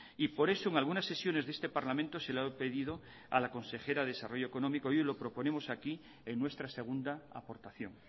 y por eso en algunas sesiones de este parlamento se le ha pedido a la consejera de desarrollo económico y hoy lo proponemos aquí en nuestra segunda aportación